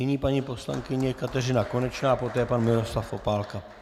Nyní paní poslankyně Kateřina Konečná, poté pan Miroslav Opálka.